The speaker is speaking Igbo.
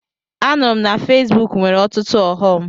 Anụrụ m na Fesbuk nwere ọtụtụ ọghọm.